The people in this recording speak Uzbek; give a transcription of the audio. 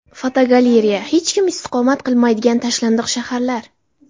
Fotogalereya: Hech kim istiqomat qilmaydigan tashlandiq shaharlar.